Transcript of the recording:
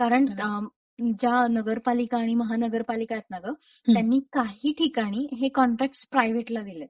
कारण ज्या नगरपालिका आणि महानगरपालिकायेत ना ग त्यांनी काही ठिकाणी कॉन्ट्रॅक्टस प्रायव्हेटला दिलेत.